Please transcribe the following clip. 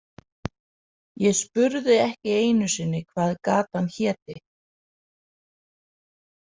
Ég spurði ekki einu sinni hvað gatan héti.